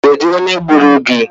Kedụ onye gburu gị?